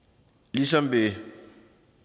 ligesom ved